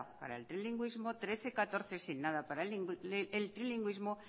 para el trilingüismo trece barra catorce sin nada para el trilingüismo